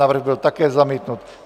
Návrh byl také zamítnut.